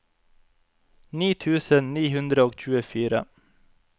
ni tusen ni hundre og tjuefire